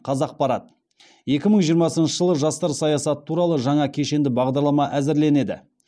қазақпарат екі мың жиырмасыншы жылы жастар саясаты туралы жаңа кешенді бағдарлама әзірленеді